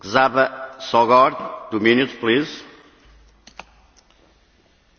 Sajnos ma még csak kérdés formájában kerül a Parlament elé ez a határozattervezet.